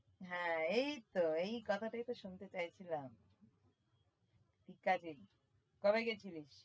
হ্যাঁ এই তো এই কথাটায় তো শুনতে চায়ছিলাম কবে গেছিলিস?